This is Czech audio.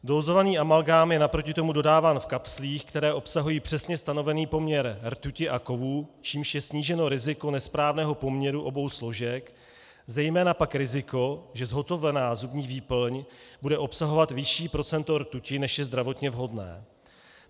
Dózovaný amalgám je naproti tomu dodáván v kapslích, které obsahují přesně stanovený poměr rtuti a kovů, čímž je sníženo riziko nesprávného poměru obou složek, zejména pak riziko, že zhotovená zubní výplň bude obsahovat vyšší procento rtuti, než je zdravotně vhodné.